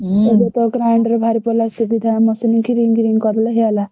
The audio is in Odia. ହୁଁ ଏବେତ grinder ବାହାରିପଡିଲା ସୁବିଧା କରିଲେ ହେଇଗଲା।